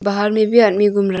बाहर में भी आदमी घूम रा--